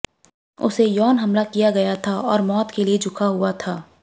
उसे यौन हमला किया गया था और मौत के लिए झुका हुआ था